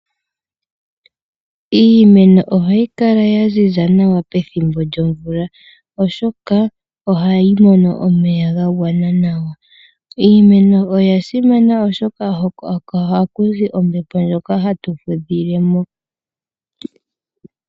Iimeno ohayi kala ya ziza nawa pethimbo lyo mvula , oshoka ohayi mono omeya ga gwana nawa. Iimeno oya simana oshoka oko hakuzi ombepo ndjoka hatu fudhilemo.